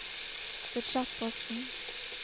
budsjettposten